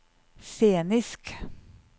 scenisk